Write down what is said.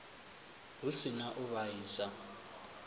hu si na u vhaisa